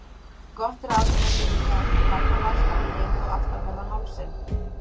Gott ráð er að setja kalda bakstra á nefið og aftanverðan hálsinn.